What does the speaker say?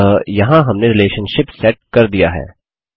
अतः यहाँ हमने रिलेशनशिप सेट कर दिया है